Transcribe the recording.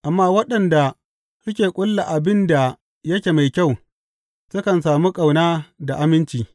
Amma waɗanda suke ƙulla abin da yake mai kyau sukan sami ƙauna da aminci.